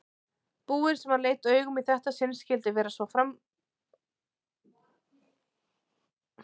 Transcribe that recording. búinn sem hann leit augum í þetta sinn skyldi vera svo framandlegur útlits.